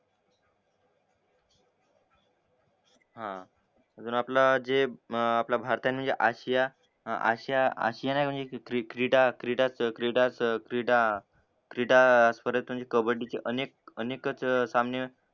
हा अजून आपला जे भारतीयांनी आशिया आशियानि म्हणजे क्रीडा क्रीडा च क्रीडाच क्रीडा क्रीडा कबड्डीची अनेक अनेकचं सामने